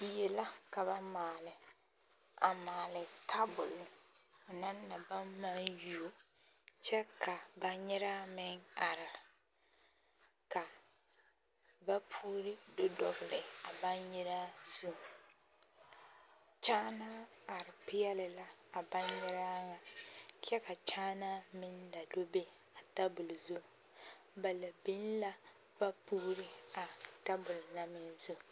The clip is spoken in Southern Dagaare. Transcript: Die la ka ba maale, a maale tabol ho naŋ na baŋ maŋ yuo kyɛ ka baŋgyeraa meŋ are ka vapuuri do dɔgele a baŋgyeraa zu, kyaanaa are peɛle la a baŋgyeraa ŋa kyɛ ka kyaanaa meŋ la do be a tabol zu, ba la biŋ la vapuuri a tabol na meŋ zu.